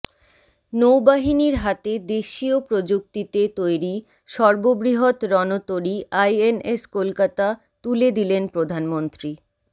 নৌবাহিনীর হাতে দেশীয় প্রযুক্তিতে তৈরি সর্ববৃহৎ রণতরী আইএনএস কলকাতা তুলে দিলেন প্রধানমন্ত্রী